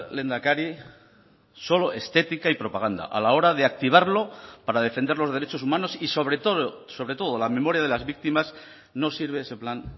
lehendakari solo estética y propaganda a la hora de activarlo para defender los derechos humanos y sobre todo sobre todo la memoria de las víctimas no sirve ese plan